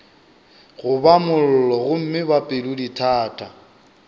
goba mollo gomme ba pelodithata